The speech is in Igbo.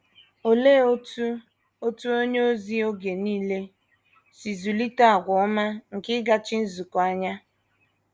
Olee otú otu onye ozi oge nile si zụlite àgwà ọma nke ịgachi nzukọ anya?